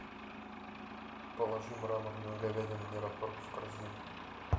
положи мраморную говядину мираторг в корзину